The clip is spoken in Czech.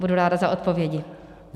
Budu ráda za odpovědi.